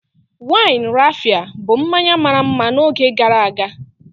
Wine Raphia bụ mmanya mara mma n'oge gara aga.